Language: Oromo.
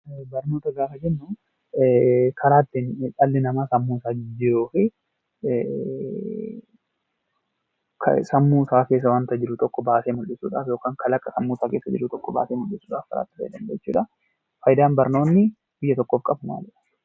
Barnoota gaafa jennu karaa ittiin dhalli namaa sammuusaa jijjiiruu fi sammuusaa keessa waanta jiru tokko baasee mul'isuudhaaf yookaan kalaqa sammuusaa keessa jiru tokko baasee mul'isuudhaaf itti fayyadamu jechuudha. Faayidaan barnoonni biyya tokkoof qabu maalidha?